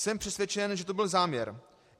Jsem přesvědčen, že to byl záměr.